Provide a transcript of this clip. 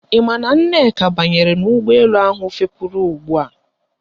Ị maara na Nneka banyere n'ụgbọelu ahụ fepuru ugbua